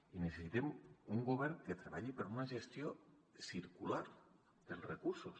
i necessitem un govern que treballi per a una gestió circular per als recursos